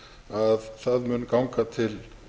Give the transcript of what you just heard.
að það mun ganga til